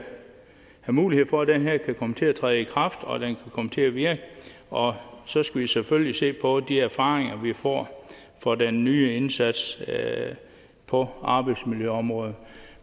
mulighed for at den her kan komme til at træde i kraft og at den kan komme til at virke og så skal vi selvfølgelig se på de erfaringer vi får fra den nye indsats på arbejdsmiljøområdet